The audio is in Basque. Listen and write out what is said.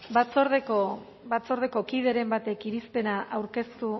batzordeko kideren batek irizpena aurkeztu